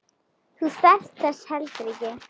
Þú þarft þess heldur ekki.